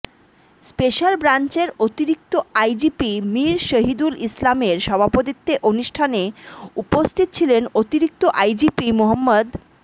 special ব্রাঞ্চের অতিরিক্ত IGP Mir Shahidul ইসলামের সভাপতিত্বে অনুষ্ঠানে উপস্থিত ছিলেন অতিরিক্ত আইজিপি মো